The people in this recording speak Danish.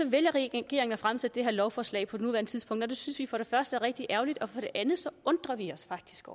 vælger regeringen at fremsætte det her lovforslag på nuværende tidspunkt og det synes vi for det første er rigtig ærgerligt og for det andet undrer vi os faktisk